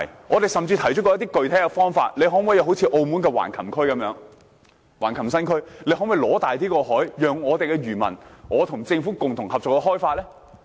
我們甚至提出過一些具體方法，要求政府仿效澳門的橫琴新區？可否爭取大一點的海域，讓我們的漁民和政府共同合作開發？